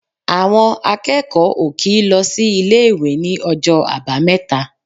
Àwọn akẹ́kọ̀ọ́ ò kì í lọ sí ilé-ìwé ní ọjọ́ Àbámẹ́ta.